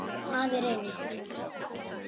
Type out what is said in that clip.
Afa Reyni.